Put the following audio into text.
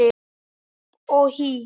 Hopp og hí